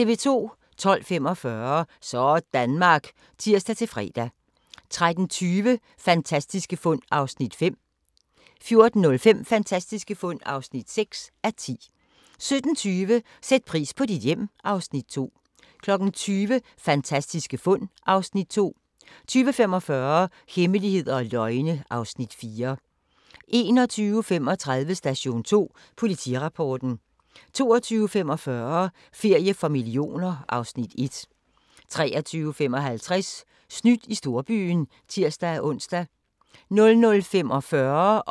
12:45: Sådanmark (tir-fre) 13:20: Fantastiske fund (5:10) 14:05: Fantastiske fund (6:10) 17:20: Sæt pris på dit hjem (Afs. 2) 20:00: Fantastiske fund (Afs. 2) 20:45: Hemmeligheder og løgne (Afs. 4) 21:35: Station 2 Politirapporten 22:45: Ferie for millioner (Afs. 1) 23:55: Snydt i storbyen (tir-ons) 00:45: Grænsepatruljen (tir-ons)